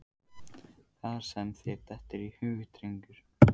Það sem þér dettur í hug, drengur.